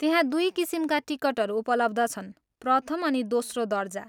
त्यहाँ दुई किसिमका टिकटहरू उपलब्ध छन्, प्रथम अनि दोस्रो दर्जा।